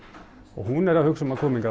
og hún er að hugsa um að koma hingað